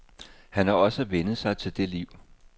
Han har også vænnet sig til det liv.